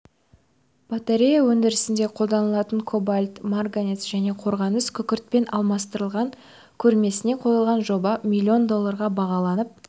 батарея өндірісінде қолданылатын кобальт марганец және қорғасын күкіртпен алмастырылған көрмесіне қойылған жоба миллион долларға бағалананып